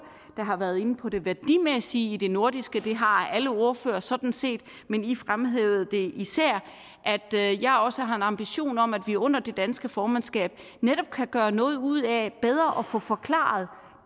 der har været inde på det værdimæssige i det nordiske det har alle ordførere sådan set men i fremhævede det især at jeg også har en ambition om at vi under det danske formandskab netop kan gøre noget ud af bedre at få forklaret